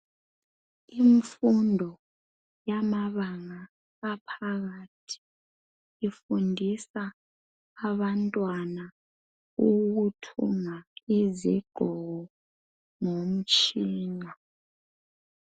Imfundo yamabala aphakathi ifundisa abantwana ukuthunga izigqoko ngomtshina.